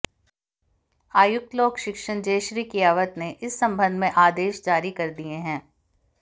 आयुक्त लोक शिक्षण जयश्री कियावत ने इस संबंध में आदेश जारी कर दिए हैं